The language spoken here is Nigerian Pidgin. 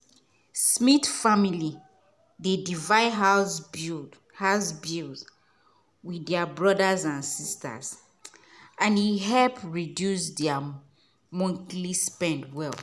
smith family dey divide house bills with their brothers and sisters and e help reduce their monthly spend well.